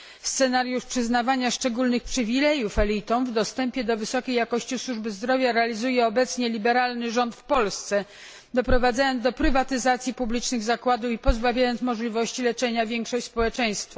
Scenariusz przyznawania szczególnych przywilejów elitom w dostępie do wysokiej jakości służby zdrowia realizuje obecnie liberalny rząd w Polsce, doprowadzając do prywatyzacji publicznych zakładów i pozbawiając możliwości leczenia większość społeczeństwa.